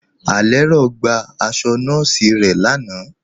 Alẹ́rọ̀ gba àṣọ̀ nọọ̀sí rẹ̀ láànà.